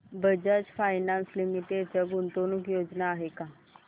Bajaj finance limited च्या गुंतवणूक योजना आहेत का